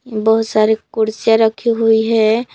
बहुत सारी कुर्सियां रखी हुई है।